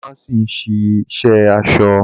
Dàmáàsì ń ṣì ṣe aṣọ